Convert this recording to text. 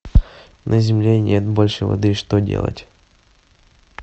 на земле нет больше воды что делать